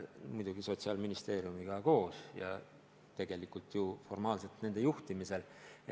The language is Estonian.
Muidugi teeme seda Sotsiaalministeeriumiga koos ja tegelikult formaalselt nende juhtimisel.